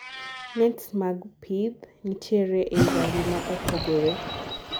nets mag pith nitiere eii rangi ma opogore